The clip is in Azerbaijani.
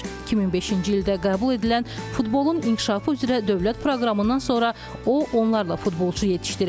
2005-ci ildə qəbul edilən futbolun inkişafı üzrə dövlət proqramından sonra o onlarla futbolçu yetişdirib.